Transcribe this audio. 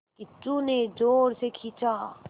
किच्चू ने ज़ोर से खींचा